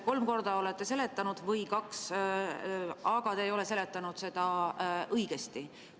Kolm korda olete seletanud – või kaks –, aga te ei ole seletanud seda õigesti.